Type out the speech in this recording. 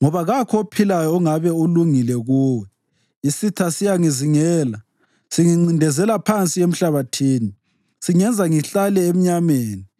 Isitha siyangizingela, singincindezela phansi emhlabathini; singenza ngihlale emnyameni njengalabo abafa kudala.